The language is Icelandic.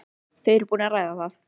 Þau eru búin að ræða það.